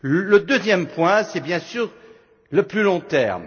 crise. Le deuxième point c'est bien sûr le plus long